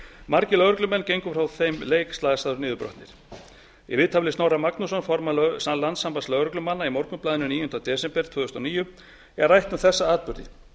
margir lögreglumenn gengu frá þeim leik slasaðir og niðurbrotnir í viðtali við snorra magnússon formann landssambands lögreglumanna í morgunblaðinu níunda desember tvö þúsund og níu er rætt um þessa atburði